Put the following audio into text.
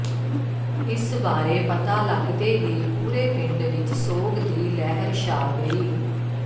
ਇਸ ਬਾਰੇ ਪਤਾ ਲੱਗਦੇ ਹੀ ਪੂਰੇ ਪਿੰਡ ਵਿਚ ਸੋਗ ਦੀ ਲਹਿਰ ਛਾ ਗਈ